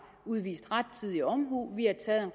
udvist rettidig omhu vi har taget